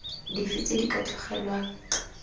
dife tse di ka tlogelwang